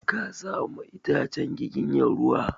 Ka sa ma itacen giginya ruwa!